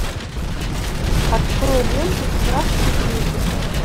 открой ленту страх и трепет